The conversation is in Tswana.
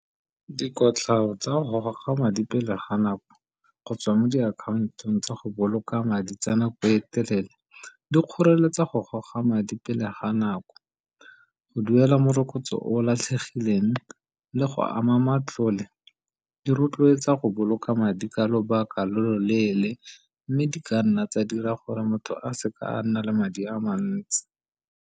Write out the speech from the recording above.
Dikotlhao tsa go goga madi pele ga nako gotswa mo diakhantong tsa go boloka madi tsa nako e telele di kgoreletsa go goga madi pele ga nako, go duela morokotso o latlhegileng le go ama matlole. Di rotloetsa go boloka madi ka lobaka lo lo leele, mme di ka nna tsa dira gore motho a se ka nna le madi a mantsi.